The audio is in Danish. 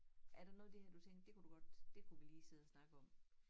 Er der noget af det her du tænkte det kunne du godt det kunne vi lige sidde og snakke om